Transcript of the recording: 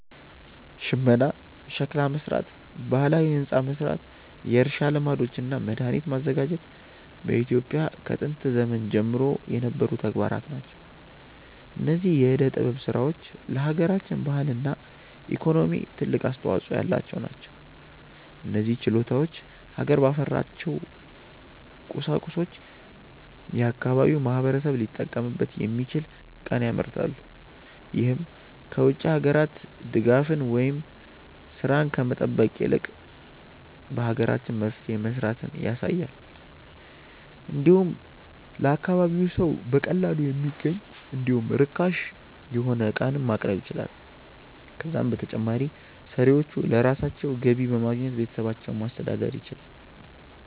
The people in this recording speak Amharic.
ሽመና፣ ሸክላ መስራት፣ ባህላዊ ህንፃ መስራት፣ የእርሻ ልማዶች እና መድሃኒት ማዘጋጀት በኢትዮጵያ ከጥንት ዘመን ጀምሮ የነበሩ ተግባራት ናቸው። እነዚህ የዕደ ጥበብ ስራዎች ለሃገራችን ባህልና ኢኮኖሚ ትልቅ አስተዋጾ ያላቸው ናቸው። እነዚህ ችሎታዎች ሀገር ባፈራቸው ቁሳቁሶች የአካባቢው ማህበረሰብ ሊጠቀምበት የሚችል ዕቃን ያመርታሉ። ይህም ከ ውጭ ሀገራት ድጋፍን ወይም ስራን ከመጠበቅ ይልቅ በሀገራችን መፍትሄ መስራትን ያሳያል። እንዲሁም ለአካባቢው ሰው በቀላሉ የሚገኝ እንዲሁም ርካሽ የሆነ ዕቃንም ማቅረብ ይችላሉ። ከዛም በተጨማሪ ሰሪዎቹ ለራሳቸው ገቢ በማግኘት ቤተሰባቸውን ማስተዳደር ይችላሉ።